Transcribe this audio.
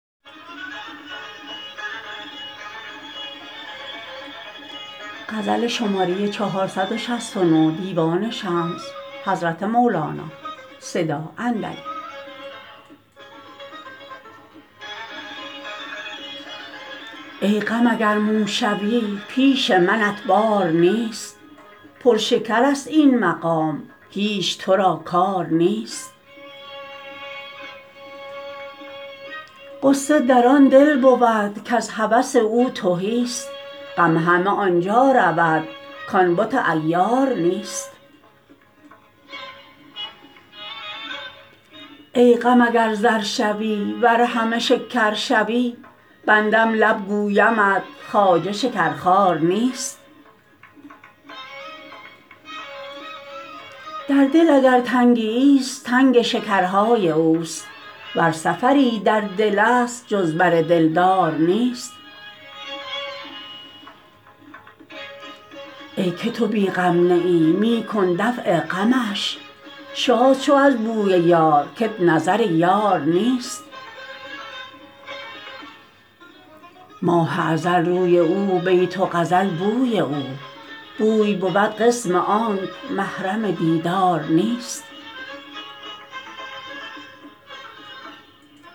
ای غم اگر مو شوی پیش منت بار نیست پر شکرست این مقام هیچ تو را کار نیست غصه در آن دل بود کز هوس او تهیست غم همه آن جا رود کان بت عیار نیست ای غم اگر زر شوی ور همه شکر شوی بندم لب گویمت خواجه شکرخوار نیست در دل اگر تنگیست تنگ شکرهای اوست ور سفری در دلست جز بر دلدار نیست ای که تو بی غم نه ای می کن دفع غمش شاد شو از بوی یار کت نظر یار نیست ماه ازل روی او بیت و غزل بوی او بوی بود قسم آنک محرم دیدار نیست